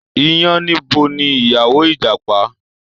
Iyánníbo ni ìyàwó Ìjàpá